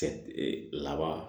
Laban